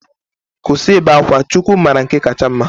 Kwụsị ibe akwa, Chukwu mara nke kacha mma.